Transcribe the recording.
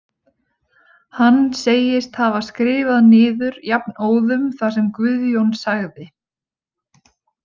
Hann segist hafa skrifað niður jafnóðum það sem Guðjón sagði.